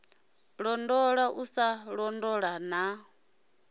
londola u sa londola na